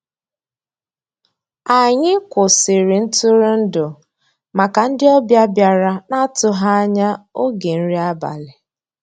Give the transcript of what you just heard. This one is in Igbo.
Ànyị́ kwụ́sị́rí ntụ́rụ́èndụ́ màkà ndị́ ọ̀bịá bìàrá ná-àtụ́ghị́ ànyá ògé nrí àbàlí.